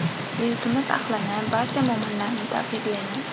Yurtimiz ahlini, barcha mo‘minlarni tabriklayman!